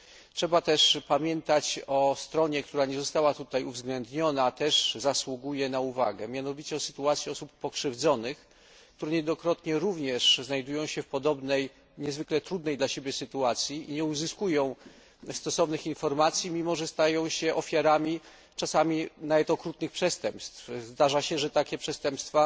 Trzeba też pamiętać o stronie, która nie została tutaj uwzględniona, a też zasługuje na uwagę, mianowicie o sytuacji osób pokrzywdzonych, które niejednokrotnie również znajdują się w podobnej, niezwykle trudnej dla nich sytuacji i nie uzyskują stosownych informacji, mimo że stają się ofiarami czasami nawet okrutnych przestępstw. Zdarza się, że ofiarami takich przestępstw